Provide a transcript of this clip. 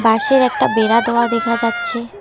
বাঁশের একটা বেড়া দেওয়া দেখা যাচ্ছে।